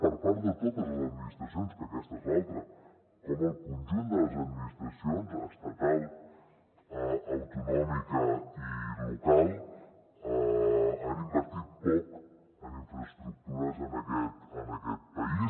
per part de totes les administracions que aquesta és l’altra com el conjunt de les administracions estatal autonòmica i local han invertit poc en infraestructures en aquest país